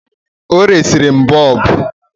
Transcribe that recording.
Ọ resiri m boobu